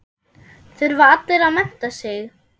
Þurfa allir að mennta sig?